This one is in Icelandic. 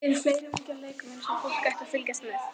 Eru fleiri ungir leikmenn sem fólk ætti að fylgjast með?